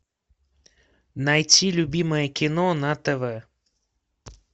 найти любимое кино на тв